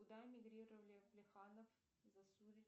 куда иммигрировали плеханов засулич